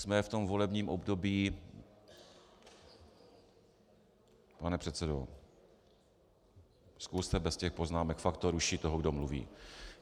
Jsme v tomto volebním období - pane předsedo, zkuste bez těch poznámek, fakt to ruší toho, kdo mluví.